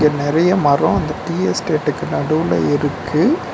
நெறைய மரோ இந்த டீ எஸ்டேட்டுக்கு நடுவுல இருக்கு.